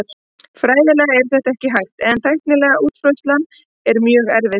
Fræðilega er þetta hægt en tæknileg útfærsla er mjög erfið.